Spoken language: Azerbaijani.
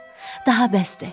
Daha bəsdir.